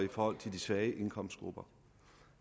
og de de svage indkomstgrupper